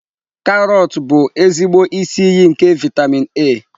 Karọt bụ ezigbo isi iyi nke vitamin A.